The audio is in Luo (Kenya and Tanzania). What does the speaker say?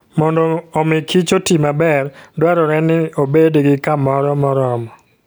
Mondo omi kich oti maber, dwarore ni obed gi kamoro moromo.